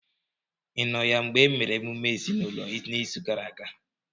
ị nọ ya mgbe e mere emume ezinụlọ n'izu gara aga?